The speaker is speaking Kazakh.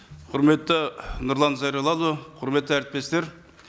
құрметті нұрлан зайроллаұлы құрметті әріптестер